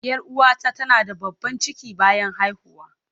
Yar uwata tana da babban ciki bayan haihuwa.